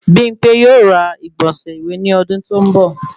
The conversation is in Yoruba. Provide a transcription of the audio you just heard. Bimpe yóò ra igbọnsẹ iwe ní ọdún to n bọ